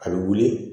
A bɛ wuli